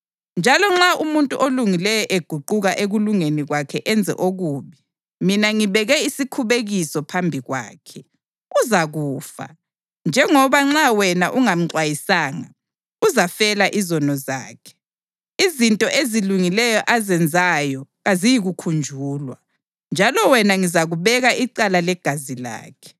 Njalo nxa umuntu olungileyo eguquka ekulungeni kwakhe enze okubi, mina ngibeke isikhubekiso phambi kwakhe, uzakufa. Njengoba nxa wena ungamxwayisanga, uzafela izono zakhe. Izinto ezilungileyo azenzayo kaziyikukhunjulwa, njalo wena ngizakubeka icala legazi lakhe.